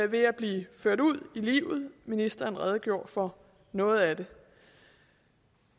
ved at blive ført ud i livet og ministeren redegjorde for noget af det